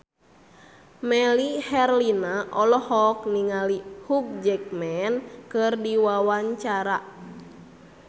Melly Herlina olohok ningali Hugh Jackman keur diwawancara